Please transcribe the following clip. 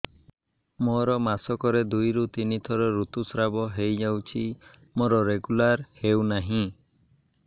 ମୋର ମାସ କ ରେ ଦୁଇ ରୁ ତିନି ଥର ଋତୁଶ୍ରାବ ହେଇଯାଉଛି ମୋର ରେଗୁଲାର ହେଉନାହିଁ